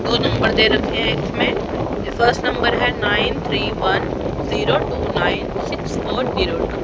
दो नंबर दे रखे हैं जिसमें जो फर्स्ट नंबर है nine three one zero two nine six four zero two.